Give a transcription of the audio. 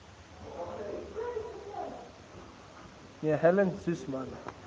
me helen suzman